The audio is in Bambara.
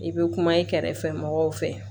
I bɛ kuma i kɛrɛfɛ mɔgɔw fɛ